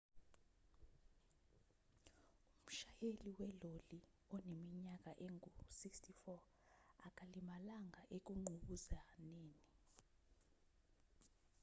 umshayeli weloli oneminyaka engu-64 akalimalanga ekunqubuzaneni